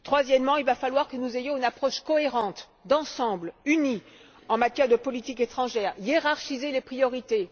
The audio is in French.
Troisièmement, il va falloir que nous ayons une approche cohérente, d'ensemble et unie en matière de politique étrangère et il va falloir hiérarchiser les priorités.